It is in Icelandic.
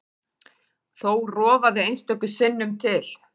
Þó rofaði einstöku sinnum til.